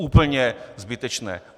Úplně zbytečné.